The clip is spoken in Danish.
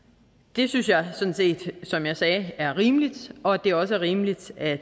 det synes jeg sådan set som jeg sagde er rimeligt og det er også rimeligt at